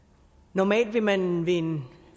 normalt vil man ved en